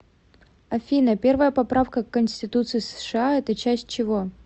афина первая поправка к конституции сша это часть чего